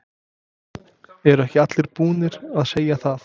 Eru ekki allir búnir að segja það?